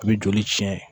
U bɛ joli tiɲɛ